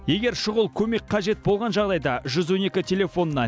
егер шұғыл көмек қажет болған жағдайда жүз он екі телефонына